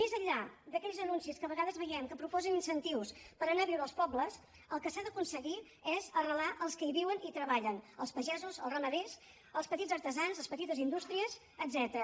més enllà d’aquells anuncis que a vegades veiem que proposen incentius per anar a viure als pobles el que s’ha d’aconseguir és arrelar els que hi viuen i treballen els pagesos els ramaders els petits artesans les petites indústries etcètera